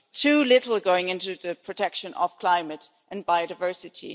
too little going into the protection of climate and biodiversity.